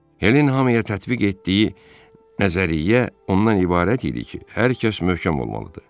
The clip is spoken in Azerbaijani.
Helin hamıya tətbiq etdiyi nəzəriyyə ondan ibarət idi ki, hər kəs möhkəm olmalıdır.